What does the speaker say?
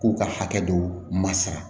K'u ka hakɛ dɔw ma sara